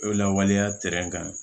O lawaleya kan